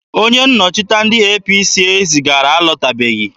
Onye nnọchiteanya ndị APC zigara alọtabeghị.